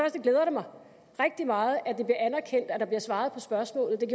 at det glæder mig rigtig meget at det bliver anerkendt at der bliver svaret på spørgsmålet